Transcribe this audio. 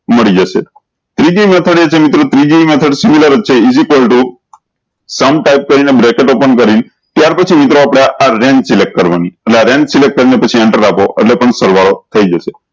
મળી જશે ત્રીજી method એ છે મિત્રો ત્રીજી method is equal to type કરી ને bracket open કરી ત્યાર પછી મિત્રો આપળે આ રેન select કરવાનું અને આ રેન select કરી ને પછી એન્ટર આપો એટલે પણ સરવાળો થઇ જશે